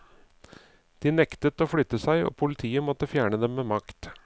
De nektet å flytte seg, og politiet måtte fjerne dem med makt.